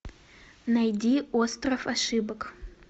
найди остров ошибок